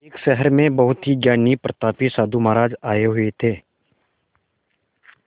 एक शहर में बहुत ही ज्ञानी प्रतापी साधु महाराज आये हुए थे